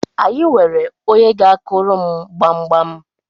anyị nwere onye ga-akuru m gbamgbam